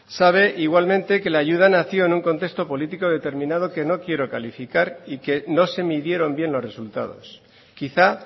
sabe igualmente que la ayuda nació en un contexto político determinado que no quiero calificar y que no se midieron bien los resultados quizá